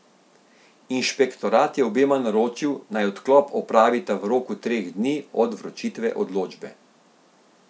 Inšpektorat je obema naročil, naj odklop opravita v roku treh dni od vročitve odločbe.